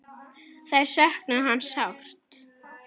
Þær söknuðu hans sárt.